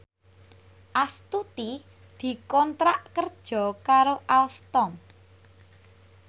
Astuti dikontrak kerja karo Alstom